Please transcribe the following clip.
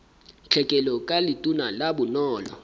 tlhekelo ka letona la bonono